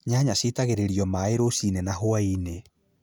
Nyanya ciitagĩrĩrio maaĩ rũcinĩ na hwaĩ-inĩ